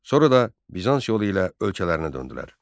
Sonra da Bizans yolu ilə ölkələrinə döndülər.